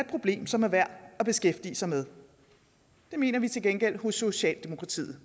problem som er værd at beskæftige sig med det mener vi til gengæld hos socialdemokratiet